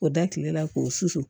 K'o da tile la k'o susu